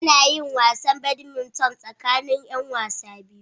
Ana yin wasan Badminton tsakanin 'yan wasa biyu.